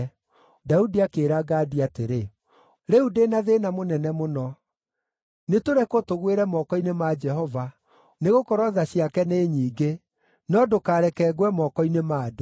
Daudi akĩĩra Gadi atĩrĩ, “Rĩu ndĩ na thĩĩna mũnene mũno. Nĩtũrekwo tũgwĩre moko-inĩ ma Jehova, nĩgũkorwo tha ciake nĩ nyingĩ; no ndũkareke ngwe moko-inĩ ma andũ.”